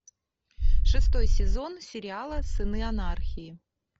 шестой сезон сериала сыны анархии